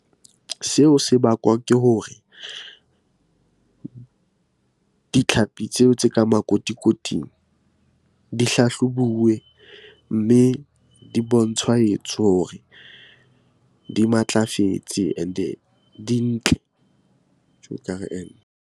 Seo se bakwa ke hore ditlhapi tseo tse ka makotikoting di hlahlobuwe, mme di bontshwahetso hore di matlafetse and-e di ntle .